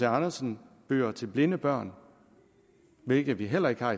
andersen bøger til blinde børn hvilket vi heller ikke har